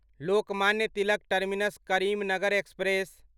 Lokmanya Tilak terminus Karimnagar express